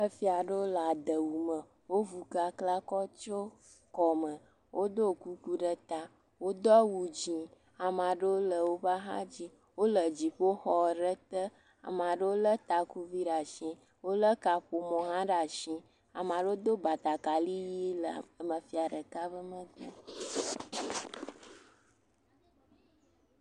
Efia aɖewo le adewu me. Wovu kakla kɔ de kɔme. Woɖo kuku ɖe ta. Wodo awu dzi. Ame aɖewo le woƒe axa dzi. Wole dziƒoxɔ aɖe te. Ame aɖewo le takuvi ɖe asi, wole kaƒomɔ hã ɖe asi. Ame aɖewo do batakaɖi ʋi le aŋafia ɖeka be..